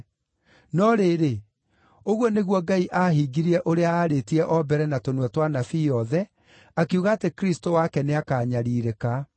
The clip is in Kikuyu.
No rĩrĩ, ũguo nĩguo Ngai aahingirie ũrĩa aarĩtie o mbere na tũnua twa anabii othe, akiuga atĩ Kristũ wake nĩakanyariirĩka.